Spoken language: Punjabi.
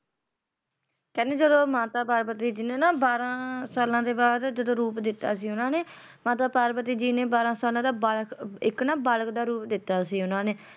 ਕਹਿੰਦੇ ਜਦੋ ਮਾਤਾ ਪਾਰਵਤੀ ਜੀ ਨੇ ਬਾਰਾਂ ਸਾਲਾਂ ਦੇ ਬਾਅਦ ਜਦੋ ਰੂਪ ਦਿੱਤਾ ਸੀ ਓਹਨਾ ਨੇ ਮਾਤਾ ਪਾਰਵਤੀ ਜੀ ਨੇ ਬਾਰਾਂ ਸਾਲਾਂ ਦਾ ਬਾ ਇਕ ਨਾ ਬ~ ਬਾਲਕ ਦਾ ਰੂਪ ਦਿੱਤਾ ਸੀ ਓਹਨਾ ਨੇ